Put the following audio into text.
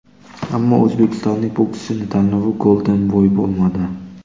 Ammo o‘zbekistonlik bokschining tanlovi Golden Boy bo‘lmadi.